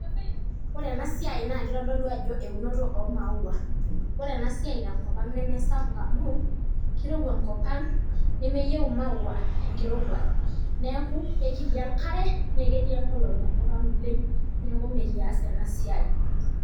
Ore enasiai naa kitodolou ajo eunoto omaua , ore enasiai tenkopang' nemesapuk amu kirowua enkopang' nemeyieu imaua enkirowuaj , neeku kekiti enkare naa ketii enkolong' enkop ang' oleng' , niaku mekias enasiai.